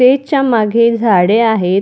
Stage च्या मागे झाडे आहेत.